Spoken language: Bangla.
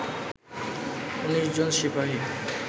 ১৯ জন সিপাহি